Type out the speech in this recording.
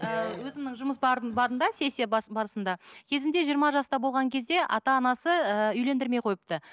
ыыы өзімнің жұмыс барында сессия барысында кезінде жиырма жаста болған кезде ата анасы ыыы үйлендірмей қойыпты